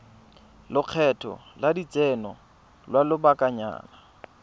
lekgetho la lotseno lwa lobakanyana